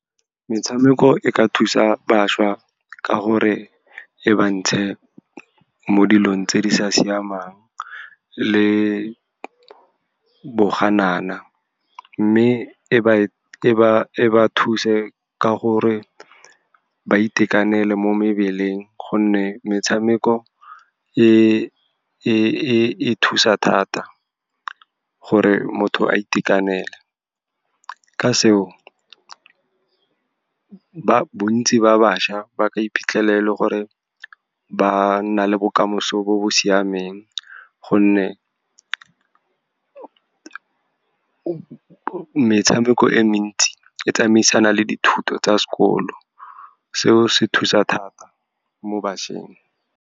Metshameko e ka thusa bašwa ka gore e ba ntshe mo dilong tse di sa siamang le boganana, mme e ba thuse ka gore ba itekanele mo mebeleng. Gonne metshameko e thusa thata gore motho a itekanele. Ka se o, bontsi ba bašwa ba ka iphitlhele e le gore ba nna le bokamoso bo bo siameng, gonne metshameko e me ntsi e tsamaisana le dithuto tsa sekolo, seo se thusa thata mo bašweng.